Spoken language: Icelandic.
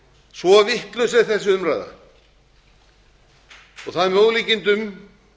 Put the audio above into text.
svo vitlaus er þessi umræða það er með ólíkindum